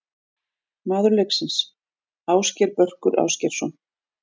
Maður leiksins: Ásgeir Börkur Ásgeirsson.